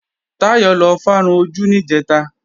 Táyọ̀ lọ fárun ojú níjẹ̀ta